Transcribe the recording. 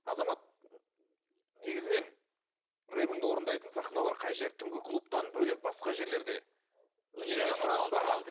азамат негізінен рэпіңді орындайтын сахналар қай жер түнгі клубтан бөлек басқа жерлерде өнеріңе сұраныс бар ма